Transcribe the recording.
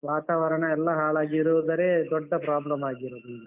ವಾತಾವರಣಯೆಲ್ಲ ಹಾಳಾಗಿ ಇರೋದರೆ ದೊಡ್ಡ problem ಆಗಿರೋದು ಈಗ.